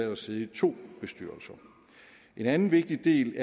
at sidde i to bestyrelser en anden vigtig del